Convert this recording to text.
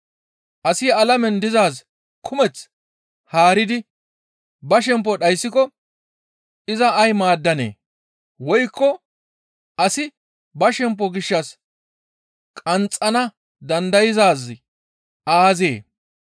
Asi alamen dizaaz kumeth haaridi ba shempo dhayssiko iza ay maaddanee? Woykko asi ba shempo gishshas qanxxana dandayzaazi aazee?